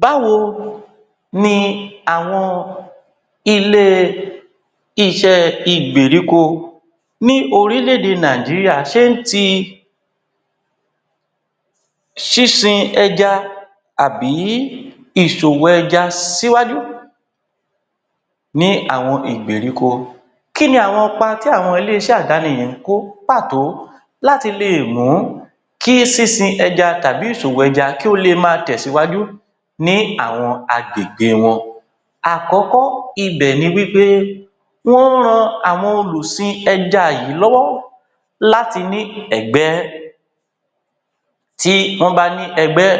Báwo ni àwọn ilée-iṣẹ́ ìgbèríko ní orílẹ̀-èdè Nàìjíríà ṣé ń ti sísìn ẹja àbí ìṣòwò ẹja síwájú ní àwọn ìgbèríko? Kí ni àwọn ipa tí ilé-iṣẹ́ àdáni yìí ń kó pàtó láti lè mú kí sísin ẹja tàbí ìṣòwò ẹja kí ó lè máa tẹ̀ síwájú ní àwọn agbègbè wọn? Àkọ́kọ́ ibẹ̀ ni wí pé wọ́n ń ran àwọn olùsin ẹja yìí lọ́wọ́ láti ní ẹgbẹ́. Tí wọ́n bá ní ẹgbẹ́,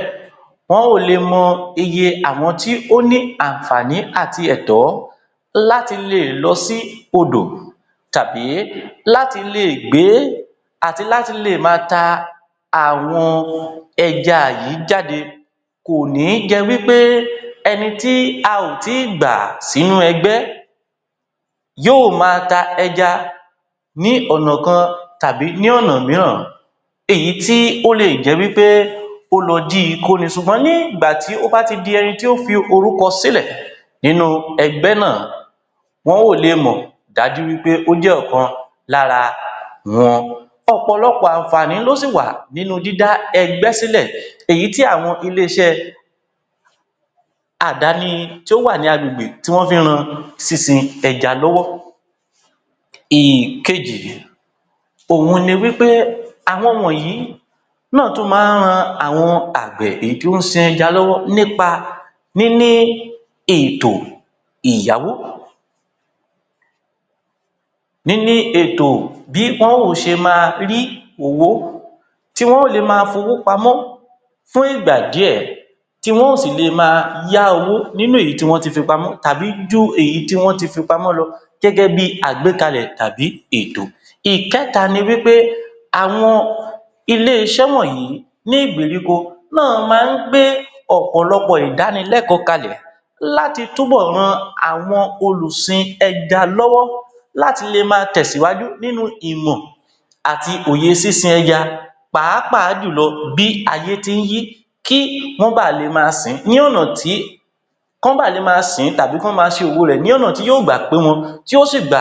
wọ́n ó lè mọ iye àwọn tí ó ní àǹfààní àti ẹ̀tọ́ láti le è lọ sí odò tàbí láti lè gbé àti láti lè ma ta àwọn ẹja yìí jáde. Kò ní jẹ wí pé ẹni tí a ò tí gbà sínú ẹgbẹ́, yóò máa ta ẹja ní ọ̀nà kan tàbí ní ọ̀nà mìíràn èyí tí ó le è jẹ́ wí pé ó lọ jí I kó ni. Ṣùgbọ́n ní ìgbà tí ó bá ti di ẹni tí ó fi orúkọ sílẹ̀ nínú ẹgbẹ́ náà, wọ́n ó le mọ̀ dájú wí pé ó jẹ́ ọ̀kan lára wọn. Ọ̀pọ̀lọpọ̀ àǹfààní ló sì wà nínú dídá ẹgbẹ́ sí lẹ̀ èyí tí àwọn ilé-iṣẹ́ àdáni tí ó wà ní agbègbè tí wọ́n fí ń ran sísin ẹja lọ́wọ́. Ìkejì, òhun ni wí pé àwọn wọ̀nyí náà tún máa ń ran àwọn àgbẹ̀ èyí tí ó ń sin ẹja lọ́wọ́ nípa níní ètò ìyáwó. Níní ètò bí ṣe máa rí owó tí wọn ó lè máa fowó pamọ́ fún ìgbà díẹ̀, tí wọn ó sì lè máa yá owó nínú èyí tí wọ́n ti fi pamọ́ tàbí ju èyí tí wọ́n ti fi pamọ́ lọ gẹ́gẹ́ bíi àgbékalè tàbí ètò. Ìkẹta ni wí pé, àwọn ilé-iṣẹ́ wọ̀nyí ni ìgbèríko náà máa ń gbé ọ̀pọ̀lọpọ̀ ìdánilẹ́kọ̀ọ́ ka lẹ̀ láti tú bọ̀ ran àwọn olùsin ẹja lọ́wọ́, láti lè máa tẹ̀ síwájú nínú ìmọ̀ àti òye sísin ẹja pàápàá jù lọ bí ayé tí ń yí, kí wọ́n ba lè ma sìn ín ní ọ̀nà tí kò bá lè ma sìn ín tàbí kí wọ́n ma ṣe òwò rẹ̀ ní ọ̀nà tí yóò gbà pé wọn, tí ó sì gbà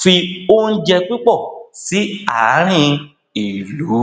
fi oúnjẹ pípọ̀ sí àárín ìlú.